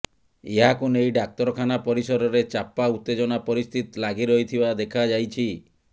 ଏହାକୁ ନେଇ ଡାକ୍ତରଖାନା ପରିସରରେ ଚାପା ଉତ୍ତେଜନା ପରିସ୍ଥିତି ଲାଗିରହିଥିବା ଦେଖା ଯାଇଛି